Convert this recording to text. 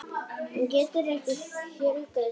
Hún getur ekki fjölgað sér.